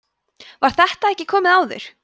var þetta ekki komið áður